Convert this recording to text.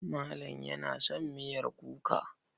Malam yana son miyar kuka.